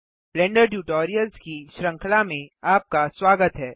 blender tutorials की श्रृंखला में आपका स्वागत है